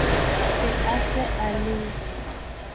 be a se a le